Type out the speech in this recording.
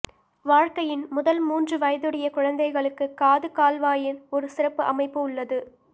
வாழ்க்கையின் முதல் மூன்று வயதுடைய குழந்தைகளுக்குப் காது கால்வாயின் ஒரு சிறப்பு அமைப்பு உள்ளது